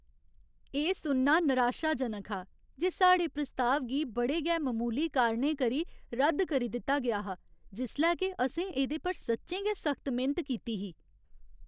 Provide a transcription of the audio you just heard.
एह् सुनना निराशाजनक हा जे साढ़े प्रस्ताव गी बड़े गै ममूली कारणें करी रद्द करी दित्ता गेआ हा जिसलै के असें एह्दे पर सच्चें गै सख्त मेह्नत कीती ही।